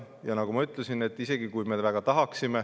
Ja nagu ma ütlesin, isegi kui me väga tahaksime …